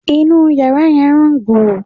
Inú yàrá yẹn ń rùn gbùù